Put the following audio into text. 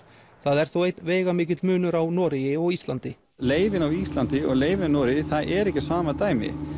það er þó einn veigamikill munur á Noregi og Íslandi leyfin á Íslandi og leyfin í Noregi það er ekki sama dæmi